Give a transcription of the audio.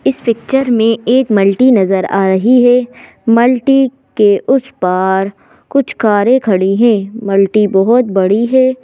इस पिक्चर में एक मल्टी नजर आ रही है मल्टी के उस पार कुछ कार खड़ी है मल्टी बहोत बड़ी है।